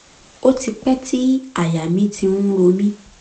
ó ti pẹ́ tí àyà mi ti ń ro mí